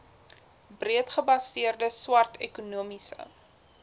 breedgebaseerde swart ekonomiese